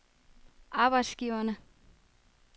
arbejdsgiverne